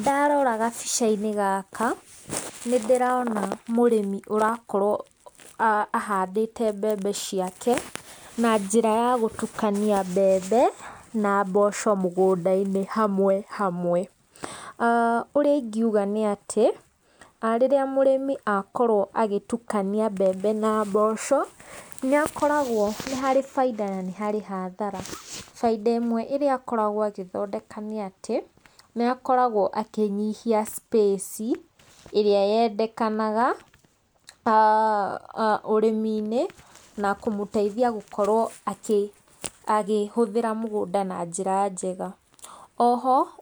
Ndarora gabica-inĩ gaka nĩ ndĩrona mũrimi ũrakorwo ahandĩte mbembe ciake na njĩra ya gũtukania mbembe na mboco mũgũnda-inĩ hamwe hamwe. Ũrĩa ingiuga nĩ atĩ, rĩrĩa mũrĩmi akorwo agĩtukania mbembe na mboco, nĩ akoragwo nĩ harĩ bainda na nĩ harĩ hathara. Bainda ĩmwe ĩrĩa akoragwo agĩthondeka nĩ atĩ, nĩ akoragwo akĩnyihia space ĩrĩa yendekanaga ũrĩmi-inĩ na kũmũteithia gũkorwo akĩhũthĩra mũgũnda na njĩra njega.